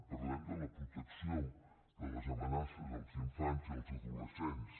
parlem de la protecció de les amenaces als infants i als adolescents